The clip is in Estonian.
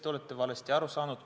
Te olete valesti aru saanud.